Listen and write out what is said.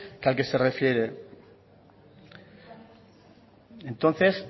que al que se refiere entonces